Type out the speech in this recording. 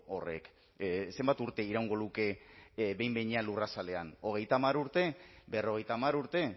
horrek zenbat urte iraungo luke behin behinean lurrazalean hogeita hamar urte berrogeita hamar urte